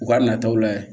U ka nataw layɛ